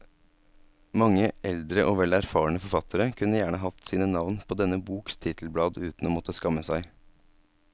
Mange eldre og vel erfarne forfattere kunne gjerne hatt sine navn på denne boks titelblad uten å måtte skamme seg.